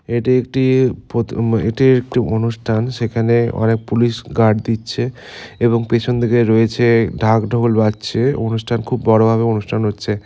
এটি একটি প্রতি এটি একটি অনুষ্ঠান সেখানে অনেক পুলিশ গার্ড দিচ্ছে এবং পেছন থেকে রয়েছে ঢাক ঢোল বাজছে অনুষ্ঠান খুব বড়ো ভাবে অনুষ্ঠান হচ্ছে।